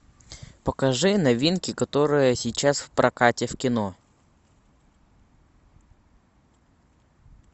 покажи новинки которые сейчас в прокате в кино